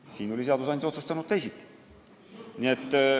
Siin oli seadusandja otsustanud teisiti.